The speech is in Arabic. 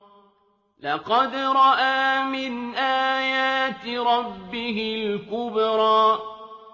لَقَدْ رَأَىٰ مِنْ آيَاتِ رَبِّهِ الْكُبْرَىٰ